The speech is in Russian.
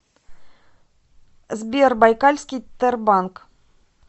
сбер байкальский тербанк